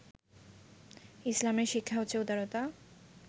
ইসলামের শিক্ষা হচ্ছে উদারতা